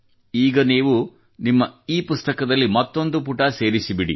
ಈಗ ನೀವು ನಿಮ್ಮ ಇಪುಸ್ತಕದಲ್ಲಿ ಮತ್ತೊಂದು ಪುಟ ಸೇರಿಸಿಬಿಡಿ